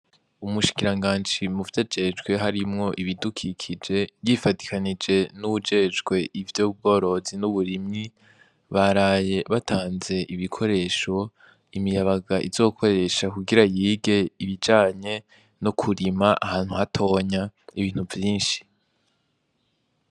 Umushikiranganji muvy'ajejwe harimwo ibidukikije ,yifadikanije n'uwujejwe ivy'ubworozi n'uburimyi, baraye batanze ibikoresho imiyabaga izokoresha kugira yige ibijanye no kurima ahantu hatonya ibintu vyinshi.